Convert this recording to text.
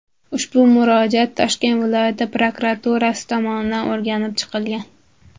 Ushbu murojaat Toshkent viloyati prokuraturasi tomonidan o‘rganib chiqilgan.